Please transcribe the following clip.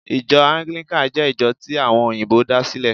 Ijo Anglican jé ìjo tí àwon òyìbó da sílè